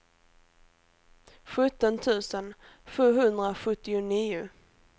sjutton tusen sjuhundrasjuttionio